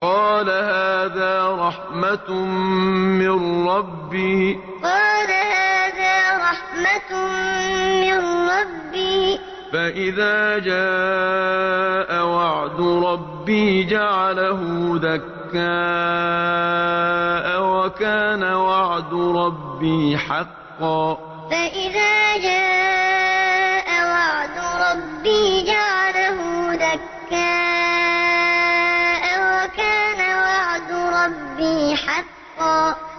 قَالَ هَٰذَا رَحْمَةٌ مِّن رَّبِّي ۖ فَإِذَا جَاءَ وَعْدُ رَبِّي جَعَلَهُ دَكَّاءَ ۖ وَكَانَ وَعْدُ رَبِّي حَقًّا قَالَ هَٰذَا رَحْمَةٌ مِّن رَّبِّي ۖ فَإِذَا جَاءَ وَعْدُ رَبِّي جَعَلَهُ دَكَّاءَ ۖ وَكَانَ وَعْدُ رَبِّي حَقًّا